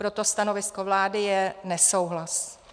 Proto stanovisko vlády je nesouhlas.